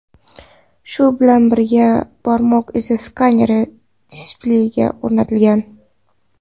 Shu bilan birga barmoq izi skaneri displeyga o‘rnatilgan.